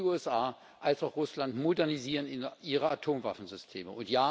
Sowohl die USA als auch Russland modernisieren ihre Atomwaffensysteme.